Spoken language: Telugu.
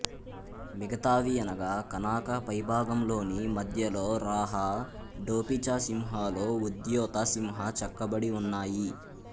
మిగతావి అనగా కనాకా పైభాగంలోని మధ్యలో రాహ డోపిచసింహలో ఉద్యోత సింహ చెక్కబడి ఉన్నాయి